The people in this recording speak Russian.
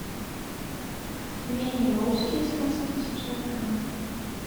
пельмени русские с мясом восемьсот грамм